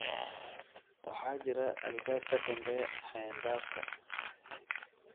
Waxaa jira albaab ka dambeeya xayndaabka